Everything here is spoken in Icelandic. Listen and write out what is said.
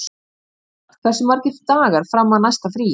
Dónald, hversu margir dagar fram að næsta fríi?